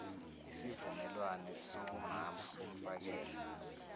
isivumelwane sobumama bomfakela